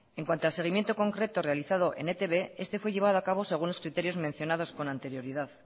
en cuando al seguimiento concreto realizado en e i te be este fue llevado a cabo según los criterios mencionados con anterioridad